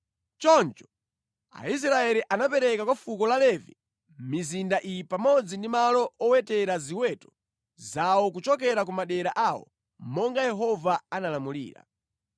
Choncho, Aisraeli anapereka kwa fuko la Levi mizinda iyi pamodzi ndi malo owetera ziweto zawo kuchokera ku madera awo, monga Yehova analamulira: